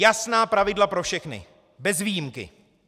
Jasná pravidla pro všechny, bez výjimky.